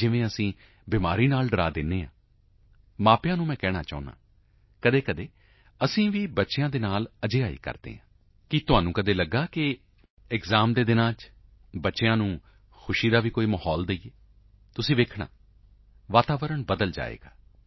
ਜਿਵੇਂ ਅਸੀਂ ਬਿਮਾਰੀ ਤੋਂ ਡਰਾ ਦਿੰਦੇ ਹਾਂ ਮਾਪਿਆਂ ਨੂੰ ਮੈਂ ਕਹਿਣਾ ਚਾਹੂੰਗਾ ਕਦੇ ਕਦੇ ਅਸੀਂ ਵੀ ਬੱਚਿਆਂ ਦੇ ਨਾਲ ਅਜਿਹਾ ਹੀ ਕਰਦੇ ਹਾਂ ਕੀ ਤੁਹਾਨੂੰ ਕਦੇ ਲੱਗਿਆ ਹੈ ਕਿ ਐਕਸਾਮ ਦੇ ਦਿਨਾਂ ਵਿੱਚ ਬੱਚਿਆਂ ਨੂੰ ਹਾਸੀ ਖੁਸ਼ੀ ਦਾ ਵੀ ਮਾਹੌਲ ਦੇਈਏ ਤੁਸੀਂ ਦੇਖਿਓ ਵਾਤਾਵਰਣ ਬਦਲ ਜਾਏਗਾ